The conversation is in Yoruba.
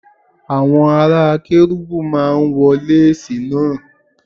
Àwọn ará Kérúbù máa ń wọ lásìì náà.